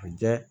A ja